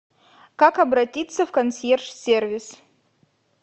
как обратиться в консьерж сервис